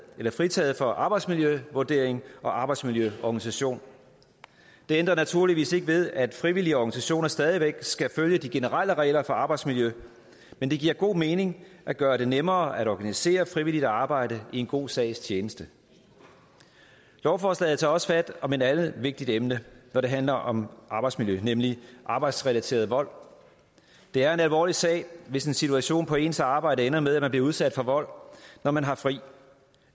fritaget for arbejdspladsvurdering og arbejdsmiljøorganisation det ændrer naturligvis ikke ved at frivillige organisationer stadig væk skal følge de generelle regler for arbejdsmiljø men det giver god mening at gøre det nemmere at organisere frivilligt arbejde i en god sags tjeneste lovforslaget tager også fat om et andet vigtigt emne når det handler om arbejdsmiljø nemlig arbejdsrelateret vold det er en alvorlig sag hvis en situation på ens arbejde ender med at man bliver udsat for vold når man har fri